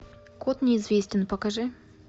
код неизвестен покажи